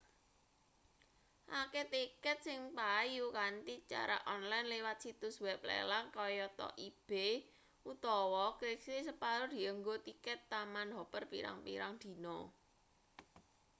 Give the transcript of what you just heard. akeh tiket sing payu kanthi cara onlen liwat situs web lelang kayata ebay utawa craigslist separo dienggo tiket taman-hopper pirang-pirang dina